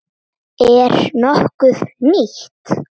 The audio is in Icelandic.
Er nokkuð nýtt?